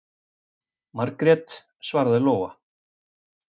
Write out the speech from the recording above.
Margrét, svaraði Lóa.